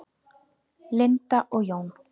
Linda og Jón.